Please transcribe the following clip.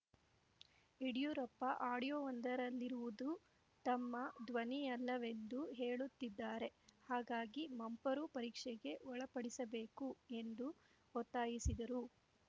ಯಡಿಯೂರಪ್ಪ ಆಡಿಯೋಒಂದರಲ್ಲಿರುವುದು ತಮ್ಮ ಧ್ವನಿಯಲ್ಲವೆಂದು ಹೇಳುತ್ತಿದ್ದಾರೆ ಹಾಗಾಗಿ ಮಂಪರು ಪರೀಕ್ಷೆಗೆ ಒಳಪಡಿಸಬೇಕು ಎಂದು ಒತ್ತಾಯಿಸಿದರು